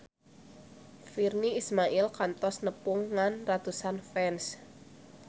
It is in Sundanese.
Virnie Ismail kantos nepungan ratusan fans